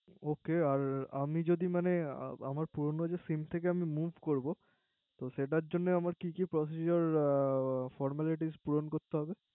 Ok আর আমি যদি মানে আমার পুরনো যে SIM থেকে আমি Move করবো তো সেটার জন্য আমার কি কি Procedure formalities পুরণ করতে হবে